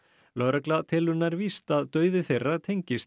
lögregla telur nær víst að dauði þeirra tengist